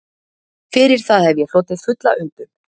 Fyrir það hef ég hlotið fulla umbun